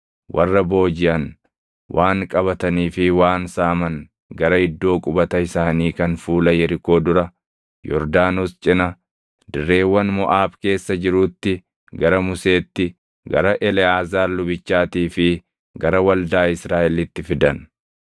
warra boojiʼan, waan qabatanii fi waan saaman gara iddoo qubata isaanii kan fuula Yerikoo dura, Yordaanos cina, dirreewwan Moʼaab keessa jiruutti gara Museetti, gara Eleʼaazaar lubichaatii fi gara waldaa Israaʼelitti fidan.